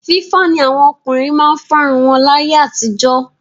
Fífá ni àwọn ọkùnrin máa ń fárun wọn láyé àtijọ́.